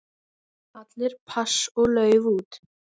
Allir pass og lauf út.